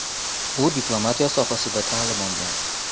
U diplomatiya sohasida ta’lim olgan.